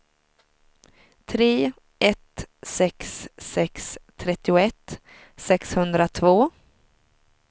tre ett sex sex trettioett sexhundratvå